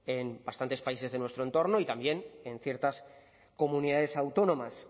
en bastantes países de nuestro entorno y también en ciertas comunidades autónomas